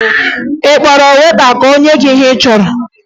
Ị kpọrọ weta ka o nye gị ihe ị chọrọ?